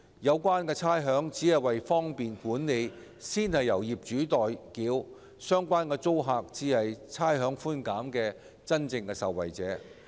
有關差餉只是為方便管理而先由業主代繳，相關租客才是差餉寬減的真正受惠者。